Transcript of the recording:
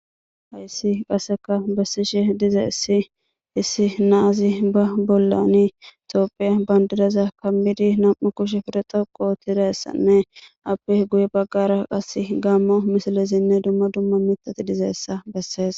Hayssi qasseka bessishe diza issi issi naazi ba bollani topphe bandidaza kammidi nam'u kushe firexaqo tidassanne apeh guye baggara qas gammo misilesinne dumma dumma mitati dizeessa bessees.